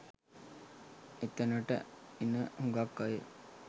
එතනට එන හුඟක් අය